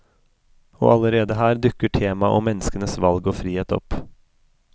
Og allerede her dukker temaet om menneskenes valg og frihet opp.